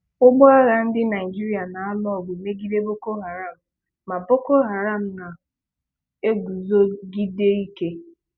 Ụgbọ agha ndị Nigeria na-alụ ọgụ megide Boko Haram, ma Boko Haram na-eguzogide ike.